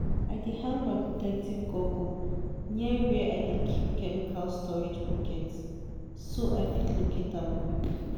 i dey hang my protective goggle near where i dey keep chemical storage bucket so i fit locate am quick.